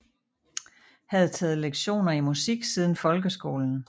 Havde taget lektioner i musik siden folkeskolen